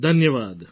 ધન્યવાદ